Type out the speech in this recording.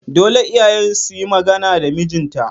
Dole iyayen suyi magana da mijin ta